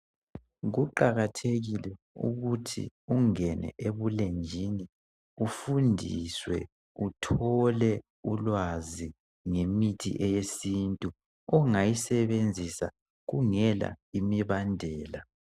Kuqakathekile ukuthi ungene ebulenjini ufundiswe uthole ulwazi ngemithi eyesintu ungayisebenzisa kungela imibandela.